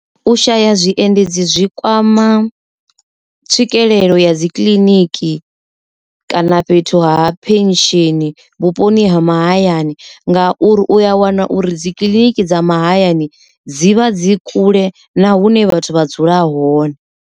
U shaya zwiendedzi zwi kwama tswikelelo ya dzi kiḽiniki kana fhethu ha pension vhuponi ha mahayani, nga uri u a wana uri dzikiḽiniki dza mahayani dzi vha dzi kule na hune vhathu vha dzula hone.